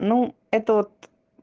ну это вот